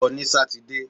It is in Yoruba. Lọ ní sátidé!